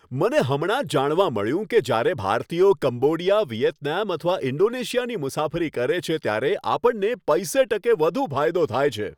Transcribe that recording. મને હમણાં જ જાણવા મળ્યું કે જ્યારે ભારતીયો કંબોડિયા, વિયેતનામ અથવા ઈન્ડોનેશિયાની મુસાફરી કરે છે ત્યારે આપણને પૈસે ટકે વધુ ફાયદો થાય છે.